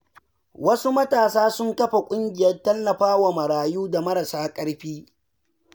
Wasu matasa sun kafa ƙungiyar tallafawa marayu da marasa ƙarfi.